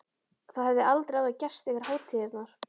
Það hafði aldrei áður gerst yfir hátíðarnar.